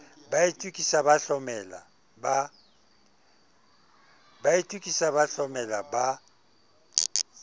ba itokisa ba hlomela ba